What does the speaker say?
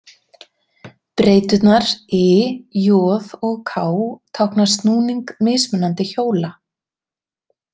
Breyturnar i, j og k tákna snúning mismunandi hjóla.